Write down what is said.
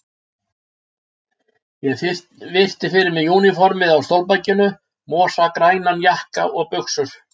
Ég virti fyrir mér úniformið á stólbakinu, mosagrænan jakka og buxur.